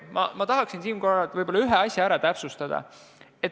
Tahaksin siinkohal ühte asja täpsustada.